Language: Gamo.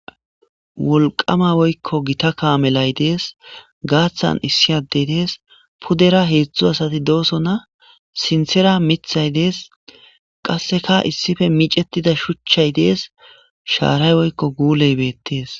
wolqama woykko gita kaamelay dees gaaththan issi adey dees pudera heedzdzu asati dooso na sintera mithay dees qasseka issife micettida shuchchay dees shaaray woykko guuley beettees